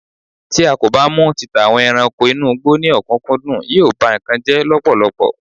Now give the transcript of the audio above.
ti a ko ba mu títà àwọn ẹranko inú igbó ni okunkundun, yíò ba nkan jẹ lọpọlọpọ